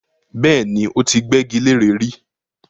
Bẹ́ẹ̀ni, ó ti gbẹ́gi leré rí